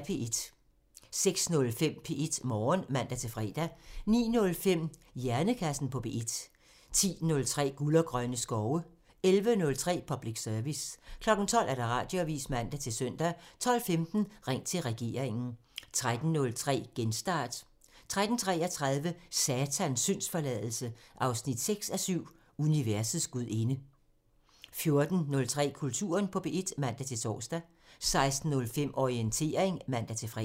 06:05: P1 Morgen (man-fre) 09:05: Hjernekassen på P1 (man) 10:03: Guld og grønne skove (man) 11:03: Public Service (man) 12:00: Radioavisen (man-søn) 12:15: Ring til regeringen (man) 13:03: Genstart (man-fre) 13:33: Satans syndsforladelse 6:7 – Universets gudinde 14:03: Kulturen på P1 (man-tor) 16:05: Orientering (man-fre)